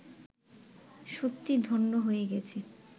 সত্যিই ধন্য হয়ে গেছে